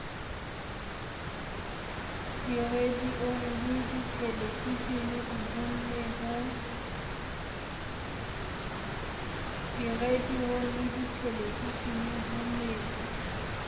diradiong le dithelevisheneng ho ne